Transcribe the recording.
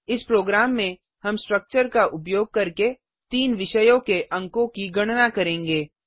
इस प्रोग्राम में हम स्ट्रक्चर का उपयोग करके तीन विषयों के अंकों की गणना करेंगे